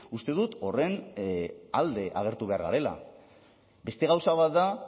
uste dut horren alde agertu behar garela beste gauza bat da